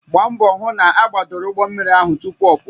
Gbaa mbọ hụ na agbadoro ụgbọ mmiri ahụ tupu ọ pụọ